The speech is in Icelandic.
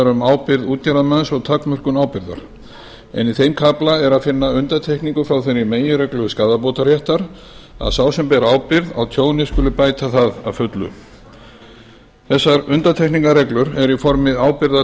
um ábyrgð útgerðarmanns og takmörkun ábyrgðar en í þeim kafla er að finna undantekningu frá þeirri meginreglu skaðabótaréttar að sá sem ber ábyrgð á tjóni skuli bæta það að fullu þessar undantekningarreglur eru í